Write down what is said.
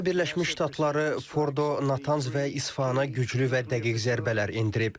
Amerika Birləşmiş Ştatları Fordo, Natans və İsfahana güclü və dəqiq zərbələr endirib.